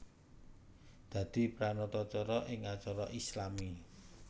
Dadi pranatacara ing acara islami